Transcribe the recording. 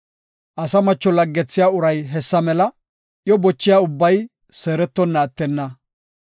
Asa macho laggethiya uray hessa mela; iyo bochiya ubbay seerettonna attenna.